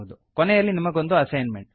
ಕೊನೆಯಲ್ಲಿ ನಿಮಗೊಂದು ಅಸೈನ್ಮೆಂಟ್